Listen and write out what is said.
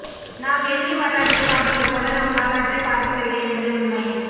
நாம் எதிரி வரலாற்றைப் பார்ப்பதுபோல நம் வரலாற்றைப் பார்ப்பதில்லை என்பதே உண்மை